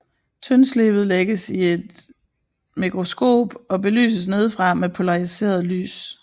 Tyndslibet lægges i et mikroskop og belyses nedefra med polariseret lys